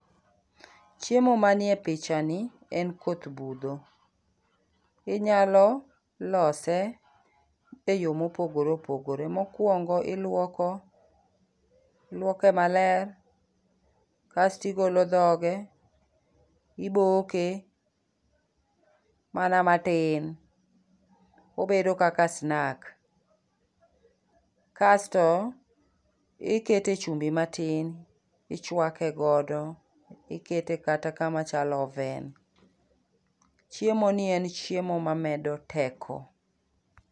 Chiemo ma nie picha ni en koth budho. Inyalo lose e yo mopogore opogore. Mokuongo iluoko, iluoke maler, kasto igolo dhoge, iboke mana matin, obedo kaka snack. Kasto, ikete chumbi matin, ichwake godo, ikete kata kama chalo oven. Chiemo ni en chiemo ma medo teko.